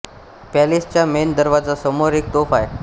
palace च्या main दरवाजा समोर एक तोफ आहे